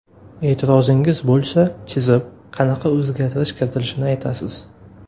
E’tirozingiz bo‘lsa, chizib, qanaqa o‘zgartirish kiritilishini aytasiz.